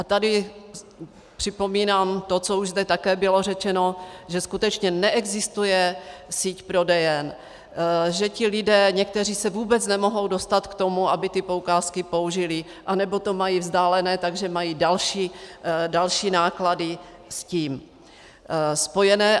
A tady připomínám to, co už zde také bylo řečeno, že skutečně neexistuje síť prodejen, že ti lidé někteří se vůbec nemohou dostat k tomu, aby ty poukázky použili, anebo to mají vzdálené, takže mají další náklady s tím spojené.